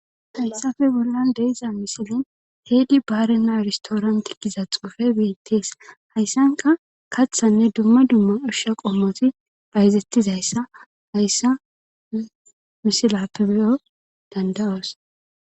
hayssafe bollan de7iza misilin heedi baare naaristooranti giza xufe beettees hayssanka kathanne dumma dumma ushsha qommoti hayzettizayssa hayssa misilappe beyo danda7oos